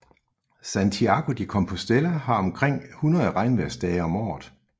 Santiago de Compostela har omkring 100 regnvejrsdage om året